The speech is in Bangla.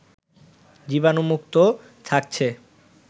জীবাণুমুক্ত থাকছে